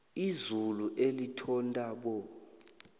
izulu elithontabo